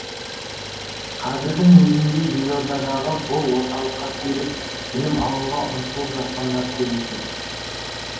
қазірдің өзінде елордадағы бұл орталыққа келіп білім алуға ұмтылып жатқандар көп екен